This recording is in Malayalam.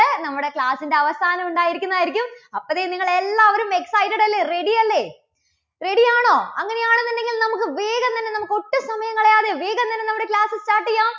നമ്മുടെ class ന്റെ അവസാനം ഉണ്ടായിരിക്കുന്നതായിരിക്കും. അപ്പോൾ ദേ നിങ്ങൾ എല്ലാവരും excited അല്ലേ? ready അല്ലേ? ready ആണോ? അങ്ങനെയാണെന്നുണ്ടെങ്കിൽ നമുക്ക് വേഗം തന്നെ നമുക്ക് ഒട്ടും സമയം കളയാതെ വേഗം തന്നെ നമ്മുടെ class start ചെയ്യാം.